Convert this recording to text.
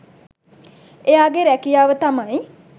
එයාගේ රැකියාව තමයි